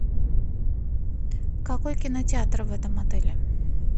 какой кинотеатр в этом отеле